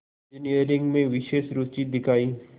engineering में विशेष रुचि दिखाई